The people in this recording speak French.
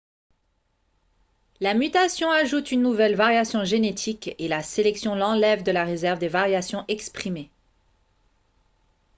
la mutation ajoute une nouvelle variation génétique et la sélection l'enlève de la réserve des variations exprimées